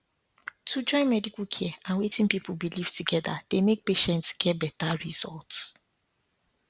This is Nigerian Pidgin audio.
to join medical care and wetin people believe together dey make patients get better results